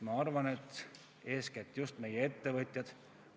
Ma arvan, et eeskätt vajavad seda seadust meie ettevõtjad.